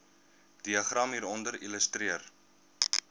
diagram hieronder illustreer